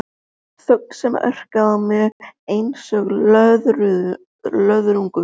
Þögn sem orkaði á mig einsog löðrungur.